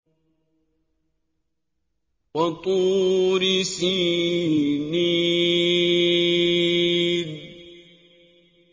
وَطُورِ سِينِينَ